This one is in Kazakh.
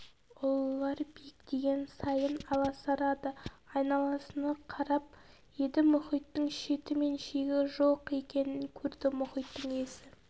ұлылар биіктеген сайын аласарады айналасына қарап еді мұхиттың шеті мен шегі жоқ екенін көрді мұхиттың иесі